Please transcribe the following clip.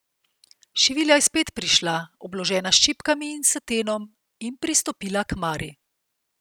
Šivilja je spet prišla, obložena s čipkami in satenom, in pristopila k Mari.